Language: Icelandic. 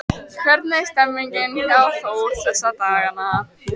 Hvernig er stemningin hjá Þór þessa dagana?